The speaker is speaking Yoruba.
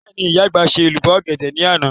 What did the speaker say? Bẹ́ẹ̀ni, ìyá àgbà ṣe èlùbọ́ ọ̀gẹ̀dẹ̀ ní àná